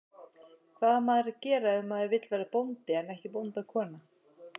Hvað á maður að gera ef maður vill verða bóndi en ekki bóndakona?